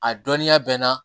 A dɔnniya bɛ n na